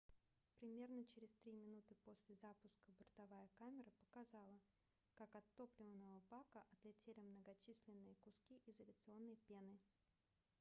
примерно через 3 минуты после запуска бортовая камера показала как от топливного бака отлетели многочисленные куски изоляционной пены